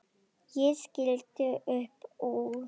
Ég skellti upp úr.